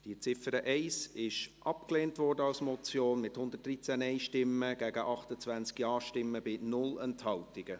Sie haben die Ziffer 1 als Motion abgelehnt, mit 113 Nein- gegen 28 Ja-Stimmen bei 0 Enthaltungen.